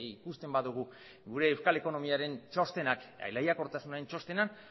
ikusten badugu gure euskal ekonomiaren txostenak lehiakortasunaren txostena